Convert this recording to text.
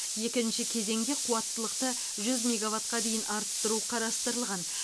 екінші кезеңде қуаттылықты жүз мегаваттқа дейін арттыру қарастырылған